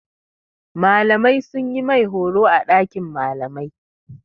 Malamai sun yi mai horo a ɗakin malamai.